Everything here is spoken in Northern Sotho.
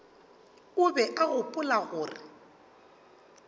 o be a gopola gore